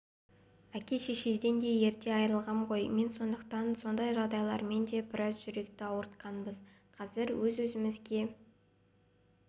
әке-шешеден де ерте айырылғам ғой мен сондықтан сондай жағдайлармен де біраз жүректі ауыртқанбыз қазір өз өзімізге